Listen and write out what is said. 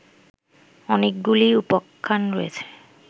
অনেকগুলি উপাখ্যান রয়েছে